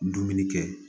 Dumuni kɛ